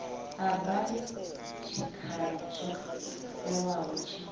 arali tshikhala tsho ewaho tshi